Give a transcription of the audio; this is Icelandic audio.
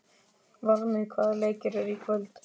Varmi, hvaða leikir eru í kvöld?